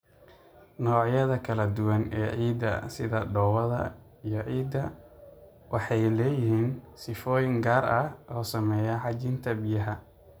Noocyada kala duwan ee ciidda, sida dhoobada iyo ciidda, waxay leeyihiin sifooyin gaar ah oo saameeya xajinta biyaha.